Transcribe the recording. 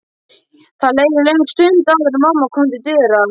Það leið löng stund áður en mamma kom til dyra.